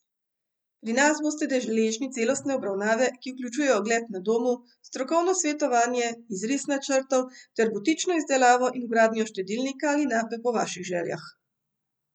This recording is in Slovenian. Pri nas boste deležni celostne obravnave, ki vključuje ogled na domu, strokovno svetovanje, izris načrtov ter butično izdelavo in vgradnjo štedilnika ali nape po vaših željah.